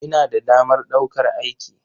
Ina da damar ɗaukar aiki.